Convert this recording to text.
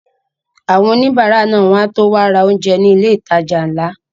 Àwọn òníbárà náà wọ́n á tó wá ra oúnjẹ ní ilé ìtajà ńlá